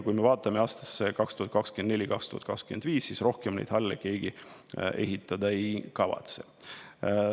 Kui me vaatame aastaid 2024 ja 2025, siis näeme, et rohkem neid halle keegi ehitada ei kavatse.